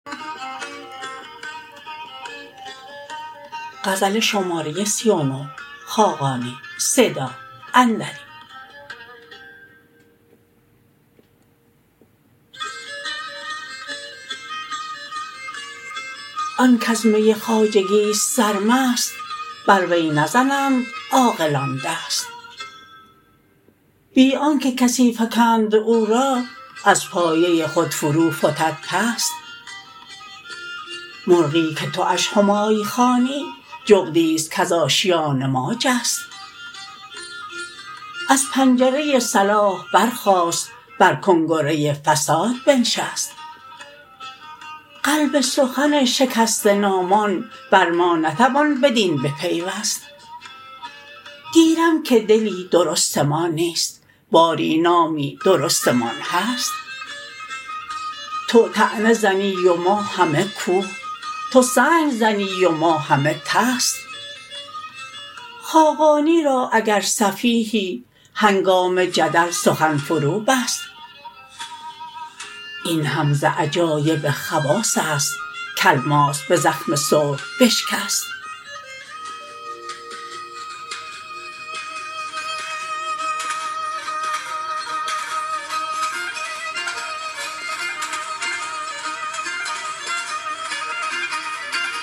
آن کز می خواجگی است سرمست بر وی نزنند عاقلان دست بی آنکه کسی فکند او را از پایه خود فروفتد پست مرغی که تواش همای خوانی جغدی است کز آشیان ما جست از پنجره صلاح برخاست بر کنگره فساد بنشست قلب سخن شکسته نامان بر ما نتوان بدین بپیوست گیرم که دل درستمان نیست باری نامی درستمان هست تو طعنه زنی و ما همه کوه تو سنگ زنی و ما همه طست خاقانی را اگر سفیهی هنگام جدل سخن فروبست این هم ز عجایب خواص است که الماس به زخم سرب بشکست